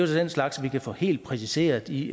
så den slags vi kan få helt præciseret i